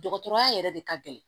Dɔgɔtɔrɔya yɛrɛ de ka gɛlɛn